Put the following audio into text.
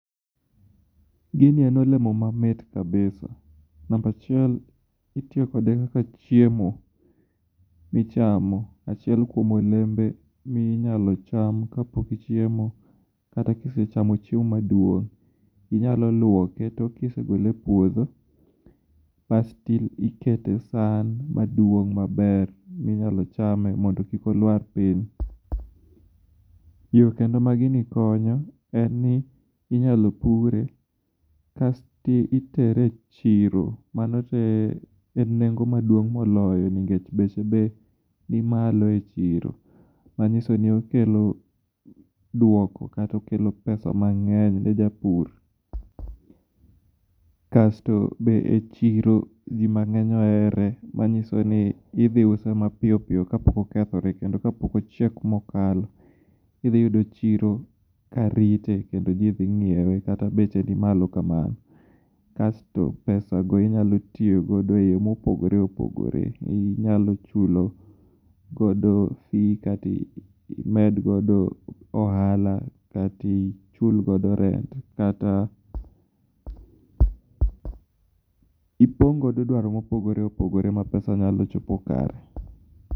Gini en olemo mamit kabisa. Namba chiel, itiyo kode kaka chiemo michamo, achiel kuom olembe minyalo cham kapok ichiemo kata kise chamo chiemo maduong', inyalo luoke to kise gole epuodho, kasto ikete esan maduong' maber minyalo chame mondo kik oluar piny. Yo kendo ma gini konyo en ni, inyalo pure kasto itere e chiro. Mano to enengo maduong' moloyo ningech beche be ni malo echiro. Manyiso ni okelo duoko kata okelo pesa mang'eny ne japur. Kasto be echiro ji mang'eny ohere manyisoni idhi use mapiyo piyo kapok okethore kendo kapok ochiek mokalo. Idhi yudo chiro ka rite kendo ji dhi ng'iewe kata beche ni malo kamano. Kasto pesago inyalo tiyogo eyo mopogore opogore, inyalo chulo godo fi kata imed godo ohala katichul godo rent kata ipong' godo dwaro mopogore opogore ma pesa nyalo chopo kare.